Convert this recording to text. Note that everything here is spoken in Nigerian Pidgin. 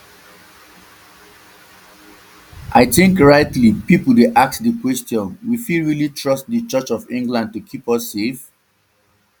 i think rightly pipo dey ask di question we fit really trust di church of england to keep us safe